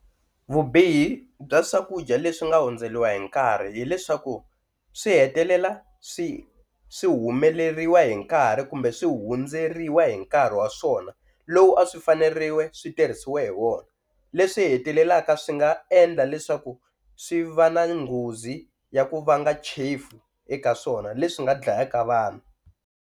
Vubihi bya swakudya leswi nga hundzeriwa hi nkarhi hileswaku swi hetelela swi swi humeleriwa hi nkarhi kumbe swi hundzeriwa hi nkarhi wa swona lowu a swi faneriwe switirhisiwe hi wona, leswi hetelelaka swi nga endla leswaku swi va na nghozi ya ku vanga chefu eka swona leswi nga dlayaka vanhu.